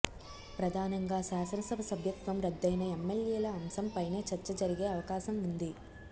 ప్రధానంగా శాసనసభ సభ్యత్వం రద్దయిన ఎమ్మెల్యేల అంశంపైనే చర్చ జరిగే అవకాశం ఉంది